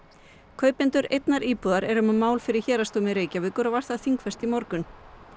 kaupendur einnar íbúðar eru með mál fyrir héraðsdómi Reykjavíkur og var það þingfest í morgun